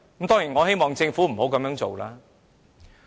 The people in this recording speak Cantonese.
當然，我希望政府不要這樣做。